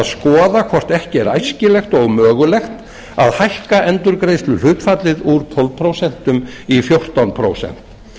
skoða hvort ekki er æskilegt og mögulegt að hækka endurgreiðsluhlutfallið úr tólf prósent í fjórtán prósent